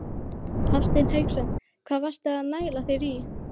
Hafsteinn Hauksson: Hvað varstu að næla þér í?